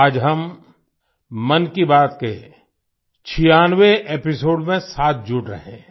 आज हम मन की बात के छियानवे 96 एपिसोड में साथ जुड़ रहे हैं